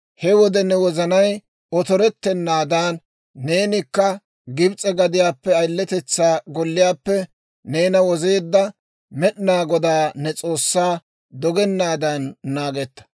he wode ne wozanay otorettennaadan, neenikka Gibs'e gadiyaappe, ayiletetsaa golliyaappe neena wozeedda Med'inaa Godaa ne S'oossaa dogennaadan naagetta.